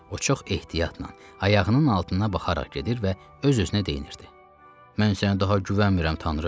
O çox ehtiyatla ayağının altına baxaraq gedir və öz-özünə deyinirdi: "Mən sənə daha güvənmirəm, Tanrı!